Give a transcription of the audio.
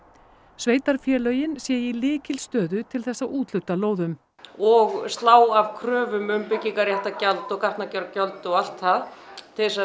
sveitarfélögin séu í lykilstöðu til þess að úthluta lóðum og slá af kröfum um byggingaréttargjald og gatnagerðargjöld og allt það til að